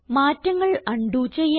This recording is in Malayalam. മാറ്റങ്ങൾ ഉണ്ടോ ചെയ്യാം